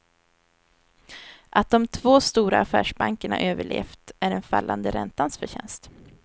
Att de två stora affärsbankerna överlevt är den fallande räntans förtjänst.